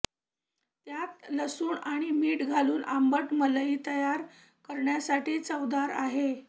त्यात लसूण आणि मीठ घालून आंबट मलई तयार करण्यासाठी चवदार आहे